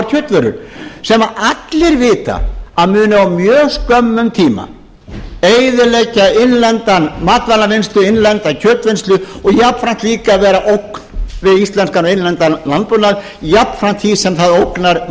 kjötvörur sem allir vita að munu á mjög skömmum tíma eyðileggja innlenda matvælavinnslu innlenda kjötvinnslu og jafnframt líka að vera ógn við íslenskan innlendan landbúnað jafnframt því sem það ógnar